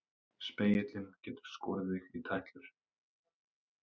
Spegillinn getur skorið þig í tætlur.